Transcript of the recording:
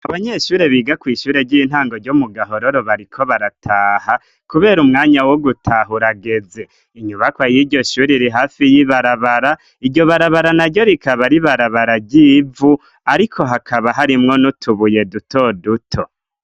Ibanyeshure biga kwishure ry'intango ryo mu gahororo bariko barataha kubera umwanya wo gutaha urageze inyubakwa y'iryo shuri iri hafi y'ibarabara iryo barabara naryo rikaba ari ibarabara ry'ivu ariko hakaba harimwo n'utubuye duto duto.